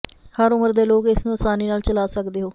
ਹਰ ਉਮਰ ਦੇ ਲੋਕ ਇਸ ਨੂੰ ਅਸਾਨੀ ਨਾਲ ਚਲਾ ਸਕਦੇ ਹੋ